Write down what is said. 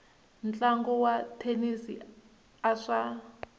ntlangu wa thenisi a swa